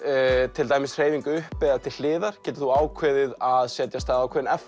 til dæmis hreyfing upp eða til hliðar getur þú ákveðið að setja af stað ákveðinn